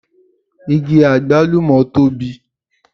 Igi àgbálùmọ̀ tóbi